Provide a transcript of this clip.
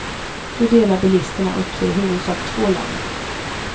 Då delar bilisterna upp sig i huvudsak i två läger.